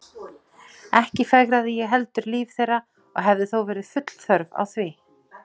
Ekki fegraði ég heldur líf þeirra og hefði þó verið full þörf á því.